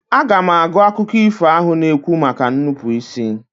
Aga m agụ akụkọ ifo ahụ na-ekwu maka nnupụisi.